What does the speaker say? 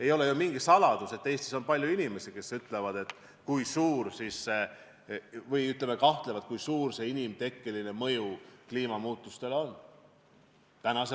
Ei ole ju mingi saladus, et Eestis on palju inimesi, kes kahtlevad, kui suur see inimtekkeline mõju kliimamuutustele on.